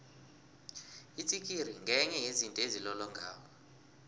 itsikiri ngenye yezinto ezilolongako